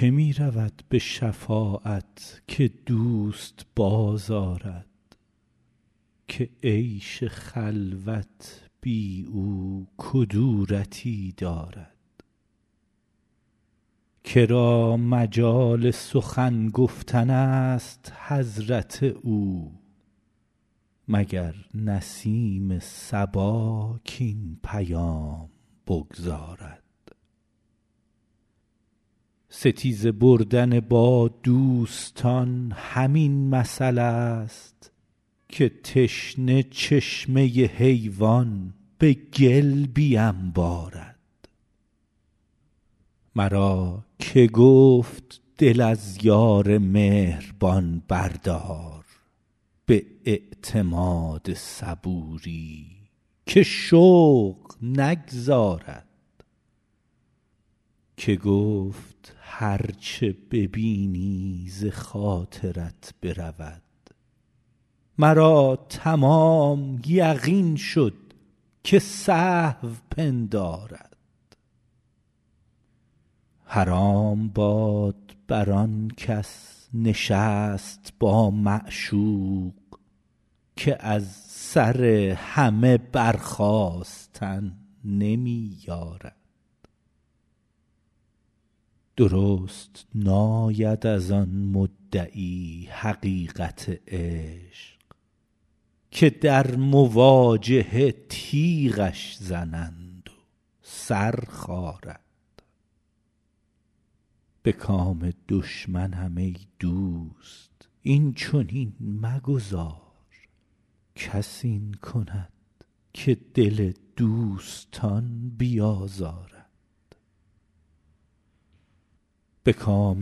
که می رود به شفاعت که دوست بازآرد که عیش خلوت بی او کدورتی دارد که را مجال سخن گفتن است به حضرت او مگر نسیم صبا کاین پیام بگزارد ستیزه بردن با دوستان همین مثلست که تشنه چشمه حیوان به گل بینبارد مرا که گفت دل از یار مهربان بردار به اعتماد صبوری که شوق نگذارد که گفت هر چه ببینی ز خاطرت برود مرا تمام یقین شد که سهو پندارد حرام باد بر آن کس نشست با معشوق که از سر همه برخاستن نمی یارد درست ناید از آن مدعی حقیقت عشق که در مواجهه تیغش زنند و سر خارد به کام دشمنم ای دوست این چنین مگذار کس این کند که دل دوستان بیازارد بیا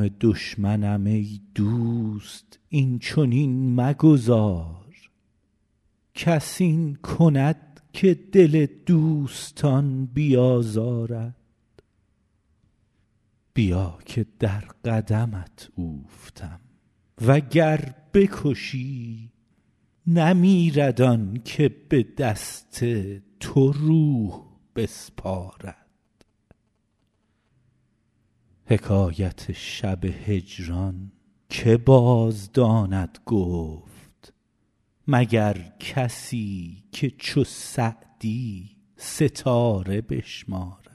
که در قدمت اوفتم و گر بکشی نمیرد آن که به دست تو روح بسپارد حکایت شب هجران که بازداند گفت مگر کسی که چو سعدی ستاره بشمارد